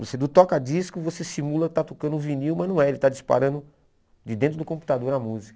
Você do toca-disco, você simula estar tocando vinil, mas não é, ele está disparando de dentro do computador a música.